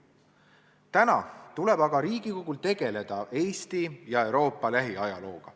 Täna tuleb aga Riigikogul tegeleda Eesti ja Euroopa lähiajalooga.